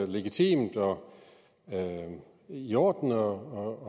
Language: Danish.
legitimt og i orden at